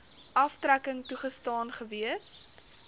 aftrekking toegestaan gewees